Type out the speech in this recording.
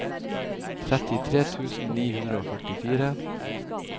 trettitre tusen ni hundre og førtifire